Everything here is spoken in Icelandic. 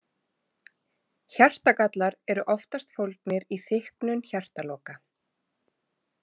Hjartagallar eru oftast fólgnir í þykknun hjartaloka.